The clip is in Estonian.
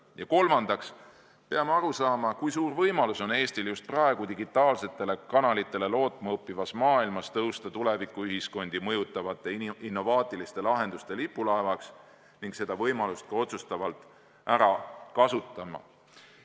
Ja kolmandaks peame aru saama, kui suur võimalus on Eestil just praegu digitaalsetele kanalitele lootma õppivas maailmas tõusta tulevikuühiskondi mõjutavate innovaatiliste lahenduste lipulaevaks ning seda võimalust ka otsustavalt ära kasutama.